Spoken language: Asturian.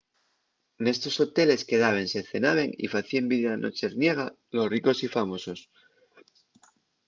nestos hoteles quedábense cenaben y facíen vida nocherniega los ricos y famosos